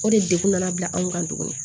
O de degu nana bila anw kan tuguni